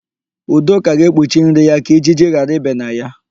Udoka ga-ekpuchi nri ya ka ijiji ghara ibe na ya.